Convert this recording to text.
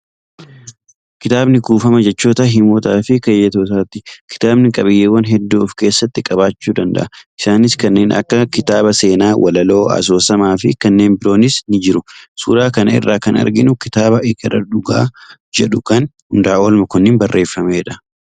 Kitaabni kuufama jechootaa, himootaa fi keeyyattootaati. Kitaabni qabiyyeewwan hedduu of keessatti qabachuu danda’a. Isaanis kanneen akka kitaaba seenaa, walaloo, asoosama fi kanneen biroonis ni jiru. Suuraa kana irraa kan arginu kitaaba 'Ekeraa Dhugaa ' jedhu kan Hundaaol Mokonniniin barreeffamedha.